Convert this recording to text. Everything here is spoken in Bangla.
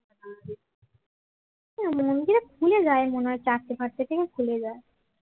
খুলে যায় মনে হয় চারটে ফারটে থেকে খুলে যায়